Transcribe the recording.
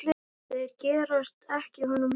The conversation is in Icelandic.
Þeir gerast ekki honum líkir.